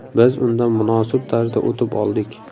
Biz undan munosib tarzda o‘tib oldik.